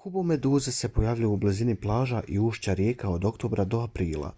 kubomeduze se pojavljuju u blizini plaža i ušća rijeka od oktobra do aprila